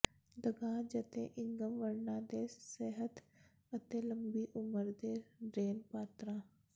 ਦਗਾਜ ਅਤੇ ਇੰਗਸ ਵਰਣਾਂ ਦੇ ਸਿਹਤ ਅਤੇ ਲੰਬੀ ਉਮਰ ਦੇ ਰੇਨ ਪਾਤਰਾਂ